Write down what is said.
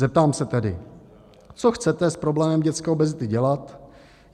Zeptám se tedy: Co chcete s problémem dětské obezity dělat?